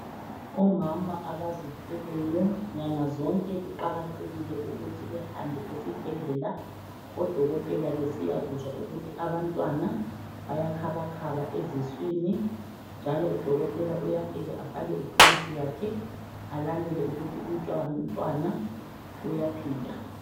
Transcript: Omama abazithweleyo nyanga zonke kuqakathekile ukuthi behambe esibhedlela odokotela besiyakuzwa ukuthi abantwana bayakhabakhaba eziswini njalo udokotela uyafika afake ithulusi yakhe alalele ukuthi umntwana uyaphila.